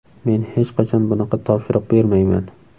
Men hech qachon bunaqa topshiriq bermayman.